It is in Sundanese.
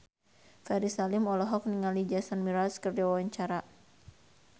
Ferry Salim olohok ningali Jason Mraz keur diwawancara